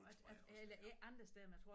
Det tror jeg også det er